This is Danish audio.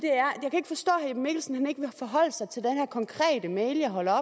er mikkelsen ikke vil forholde sig til den her konkrete mail jeg holder